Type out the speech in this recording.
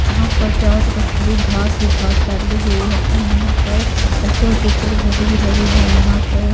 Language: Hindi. यहां पर चारों तरफ हरी घास ही घास फैली हुई है तथा यहां पर ऊंचे ऊंचे पेड़ पौधे भी लगे हुए यहां पर--